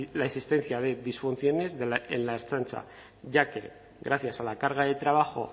la existencia de disfunciones en la ertzaintza ya que gracias a la carga de trabajo